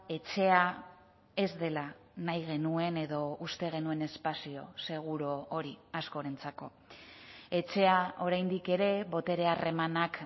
etxea ez dela nahi genuen edo uste genuen espazio seguru hori askorentzako etxea oraindik ere botere harremanak